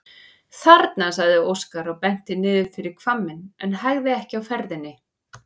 Þarna, sagði Óskar og benti niður fyrir hvamminn en hægði ekki á ferðinni.